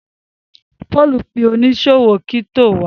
Paul pe oniṣòwo crypto wá.